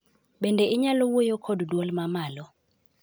Bende inyalo wuoyo kod duol mamalo